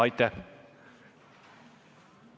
Aitäh!